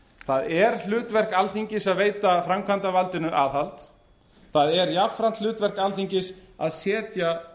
það er hlutverk alþingis að veita framkvæmdarvaldinu aðhald það er jafnframt hlutverk alþingis að setja